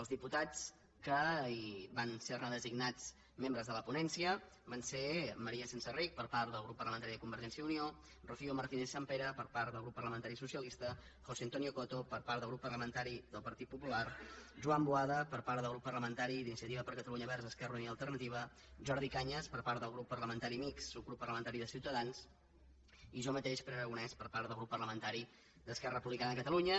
els diputats que van ser designats membres de la ponència van ser maria senserrich per part del grup parlamentari de convergència i unió rocío martínez sampere per part del grup parlamentari socialista josé antonio coto per part del grup parlamentari del partit popular joan boada per part del grup parlamentari d’iniciativa per catalunya verds esquerra unida i alternativa jordi cañas per part del grup parlamentari mixt subgrup parlamentari ciutadans i jo mateix pere aragonés per part del grup parlamentari d’esquerra republicana de catalunya